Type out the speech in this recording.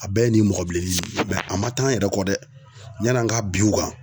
A bɛɛ ye nin mɔgɔbileni nin a man taa an yɛrɛ kɔ dɛ yann'an ka binw kan.